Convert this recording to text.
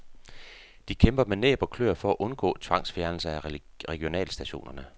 De kæmper med næb og klør for at undgå tvangsfjernelse af regionalstationerne.